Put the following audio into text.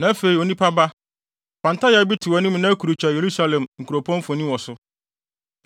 “Na afei, onipa ba, fa ntayaa bi to wʼanim na kurukyerɛw Yerusalem kuropɔn mfoni wɔ so.